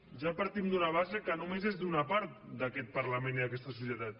ja partim d’una base que només és d’una part d’aquest parlament i d’aquesta societat